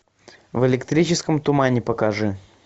в электрическом тумане покажи